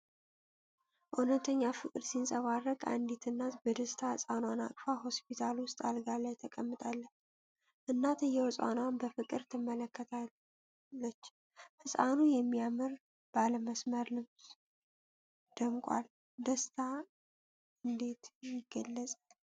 እውነት ፍቅር ሲንጸባረቅ! አንዲት እናት በደስታ ሕፃኗን አቅፋ ሆስፒታል ውስጥ አልጋ ላይ ተቀምጣለች። እናትየው ሕፃኗን በፍቅር ትመለከታለች። ሕፃኑ በሚያምር ባለመስመር ልብስ ደምቋል። ደስታ እንዴት ይገለጽ!